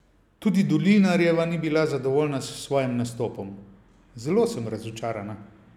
Tudi Dolinarjeva ni bila zadovoljna s svojim nastopom: "Zelo sem razočarana.